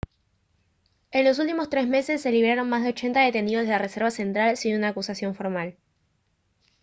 en los últimos tres meses se liberaron más de 80 detenidos de la reserva central sin una acusación formal